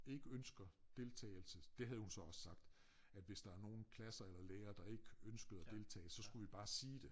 Ikke ønsker deltagelse det havde hun så også sagt at hvis der er nogen lærere eller klasser der ikke ønsker at deltage så skulle vi bare sige det